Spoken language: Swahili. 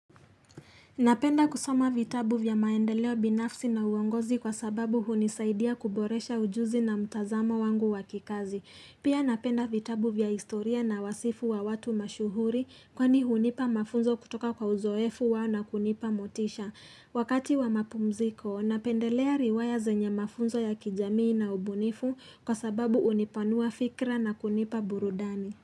Napenda kusoma vitabu vya maendeleo binafsi na uongozi kwa sababu hunisaidia kuboresha ujuzi na mtazamo wangu wa kikazi. Pia napenda vitabu vya historia na wasifu wa watu mashuhuri kwani hunipa mafunzo kutoka kwa uzoefu wao na kunipa motisha. Wakati wa mapumziko, napendelea riwaya zenye mafunzo ya kijamii na ubunifu kwa sababu hunipanua fikra na kunipa burudani.